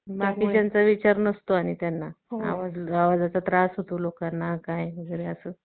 आणि वेगवेगळ्या रंगांच्या भाज्या वेगवेगळे जसे रंग आपण बघतो, तसे रंगांच्या भाज्या असतात आणि त्या आपल्याला खायच्या असतात. फळं, भाज्या